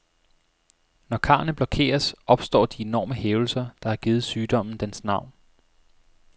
Når karrene blokeres, opstår de enorme hævelser, der har givet sygdommen dens navn.